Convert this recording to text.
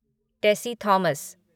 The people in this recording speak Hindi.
टेसी थॉमस